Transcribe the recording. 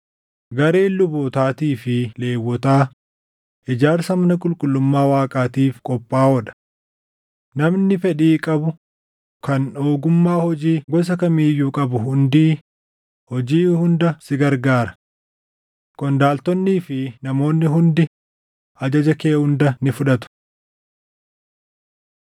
Gareen lubootaatii fi Lewwotaa ijaarsa mana qulqullummaa Waaqaatiif qophaaʼoo dha. Namni fedhii qabu kan ogummaa hojii gosa kamii iyyuu qabu hundii hojii hunda si gargaara. Qondaaltonnii fi namoonni hundii ajaja kee hunda ni fudhatu.”